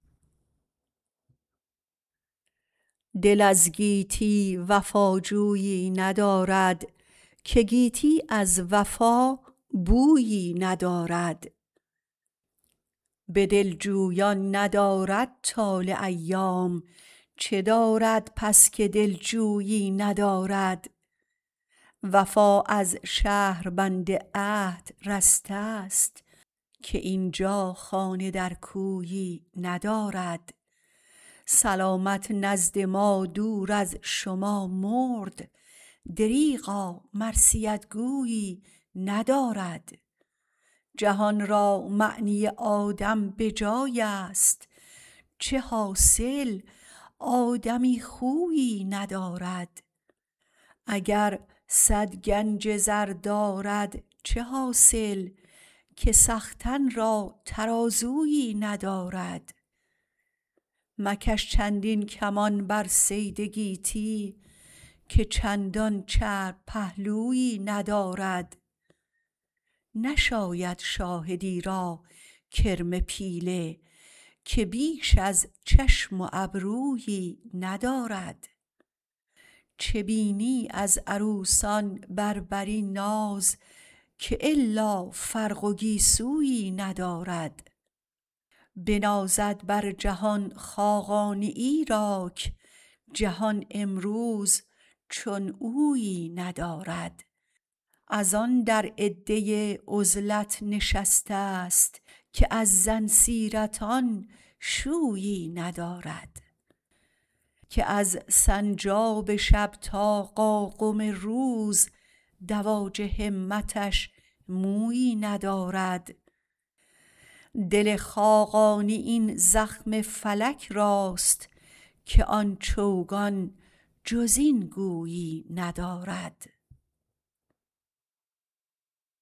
دل از گیتی وفاجویی ندارد که گیتی از وفا بویی ندارد به دل جویان ندارد طالع ایام چه دارد پس که دل جویی ندارد وفا از شهربند عهد رسته است که اینجا خانه در کویی ندارد سلامت نزد ما دور از شما مرد دریغا مرثیت گویی ندارد جهان را معنی آدم به جای است چه حاصل آدمی خویی ندارد اگر صد گنج زر دارد چه حاصل که سختن را ترازویی ندارد مکش چندین کمان بر صید گیتی که چندان چرب پهلویی ندارد نشاید شاهدی را کرم پیله که بیش از چشم و ابرویی ندارد چه بینی از عروسان بربری ناز که الا فرق و گیسویی ندارد بنازد بر جهان خاقانی ایراک جهان امروز چون اویی ندارد از آن در عده عزلت نشسته است که از زن سیرتان شویی ندارد که از سنجاب شب تا قاقم روز دواج همتش مویی ندارد دل خاقانی این زخم فلک راست که آن چوگان جز این گویی ندارد